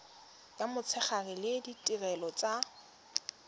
ya motshegare le ditirelo tsa